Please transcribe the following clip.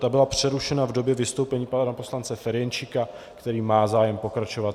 Ta byla přerušena v době vystoupení pana poslance Ferjenčíka, který má zájem pokračovat.